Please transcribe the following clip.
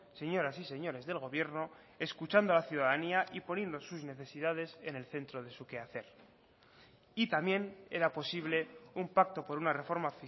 señoras y señores del gobierno escuchando a la ciudadanía y poniendo sus necesidades en el centro de su quehacer y también era posible un pacto por una reforma